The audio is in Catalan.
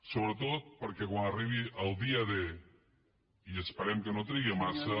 sobretot perquè quan arribi el dia d i esperem que no trigui massa